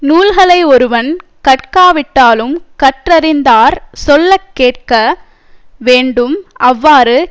நூல்களை ஒருவன் கற்காவிட்டாலும் கற்றறிந்தார் சொல்ல கேட்க வேண்டும் அவ்வாறு